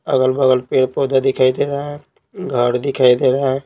अगल-बगल पेड़-पौधा दिखाई दे रहा है घर दिखाई दे रहा है।